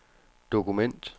dokument